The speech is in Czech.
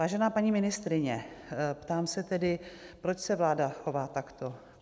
Vážená paní ministryně, ptám se tedy, proč se vláda chová takto?